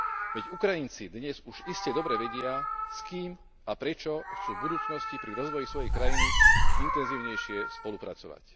Veď Ukrajinci dnes už iste dobre vedia, s kým a prečo chcú v budúcnosti pri rozvoji svojej krajiny intenzívnejšie spolupracovať.